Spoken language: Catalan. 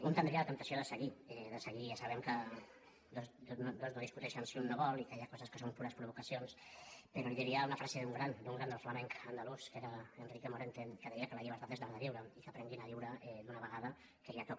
un tindria la temptació de seguir de seguir i ja sabem que dos no discuteixen si un no vol i que hi ha coses que són pures provocacions però li diria una frase d’un gran del flamenc andalús que era enrique morente que deia que la llibertat és l’art de viure i que aprenguin a viure d’una vegada que ja toca